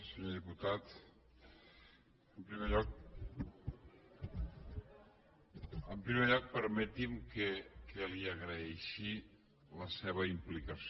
senyor diputat en primer lloc permeti’m que li agraeixi la seva implicació